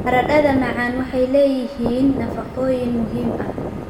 Baradhada macaan waxay leeyihiin nafaqooyin muhiim ah.